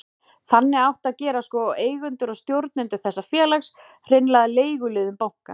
Þannig átti að gera sko, eigendur og stjórnendur þessa félags, hreinlega að leiguliðum bankans.